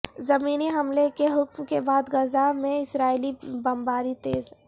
زمینی حملے کے حکم کے بعد غزہ پر اسرائیلی بمباری تیز